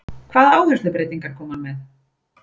Hvaða áherslubreytingar kom hann með?